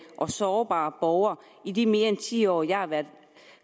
og sårbare borgere i de mere end ti år jeg har været